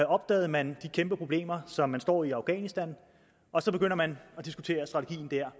opdagede man de kæmpeproblemer som man stod i i afghanistan og så begyndte man at diskutere strategien der